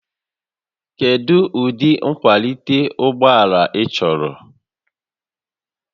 Kedu ụdị nkwalite ụgbọ ala ị chọrọ?